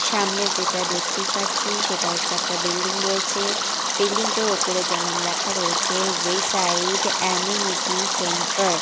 সামনে যেটা দেখতে পাচ্ছি সেটা হচ্ছে একটা বিল্ডিং রয়েছে বিল্ডিং -টার ওপরে যেমন লেখা রয়েছে ওয়েসাইড আ্যামিনিটি সেন্টার ।